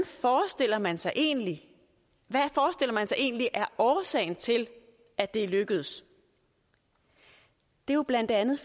forestiller man sig egentlig egentlig er årsagen til at det er lykkedes det er jo blandt andet